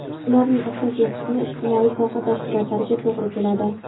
Ularning asosiy qismi ijtimoiy soha tashkilotlariga to‘g‘ri keladi.